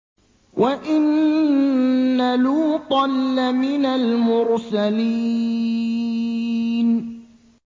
وَإِنَّ لُوطًا لَّمِنَ الْمُرْسَلِينَ